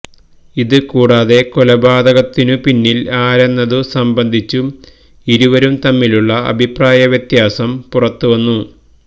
ഇത് കൂടാതെ കൊലപാതകത്തിനു പിന്നിൽ ആരെന്നതു സംബന്ധിച്ചും ഇരുവരും തമ്മിലുള്ള അഭിപ്രായവ്യത്യാസം പുറത്തുവന്നു